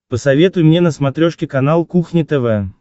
посоветуй мне на смотрешке канал кухня тв